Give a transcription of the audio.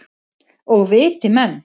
Og viti menn.